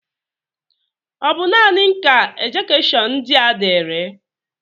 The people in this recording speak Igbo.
Ọ bụ naanị m ka ejekishon ndị a diri?